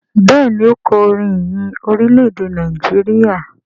Béèni o kò orin ìyìn Orilẹ-ede Nàìjíríà.